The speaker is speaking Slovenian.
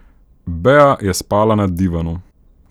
Bea je spala na divanu.